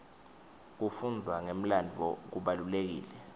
kufundza ngemlandvo kubalulekile